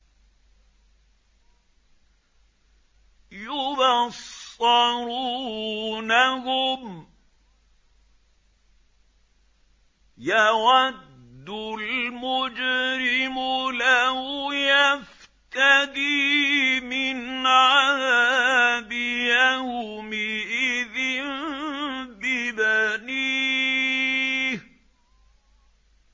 يُبَصَّرُونَهُمْ ۚ يَوَدُّ الْمُجْرِمُ لَوْ يَفْتَدِي مِنْ عَذَابِ يَوْمِئِذٍ بِبَنِيهِ